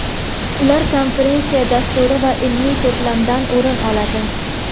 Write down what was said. Ular konferensiya dasturi va ilmiy to‘plamdan o‘rin oladi.